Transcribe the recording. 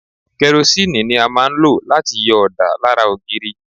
Kẹrosínìì ni a máa ń lò láti yọ ọ̀dà lára ògiri.